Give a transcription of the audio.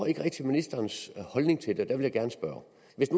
ikke rigtig ministerens holdning til det derfor jeg gerne spørge